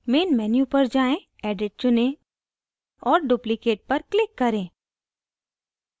main menu पर जाएँ edit चुनें और duplicate पर click करें